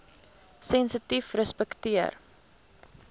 sensitiefrespekteer